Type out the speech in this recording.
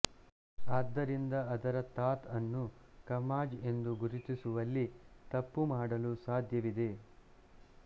ಆದ್ದರಿಂದ ಅದರ ಥಾತ್ ಅನ್ನು ಖಮಾಜ್ ಎಂದು ಗುರುತಿಸುವಲ್ಲಿ ತಪ್ಪು ಮಾಡಲು ಸಾಧ್ಯವಿದೆ